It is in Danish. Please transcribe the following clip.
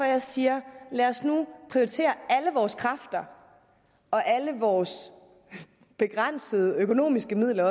jeg siger lad os nu prioritere alle vores kræfter og alle vores begrænsede økonomiske midler